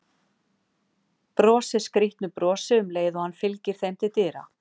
Brosir skrýtnu brosi um leið og hann fylgir þeim til dyra.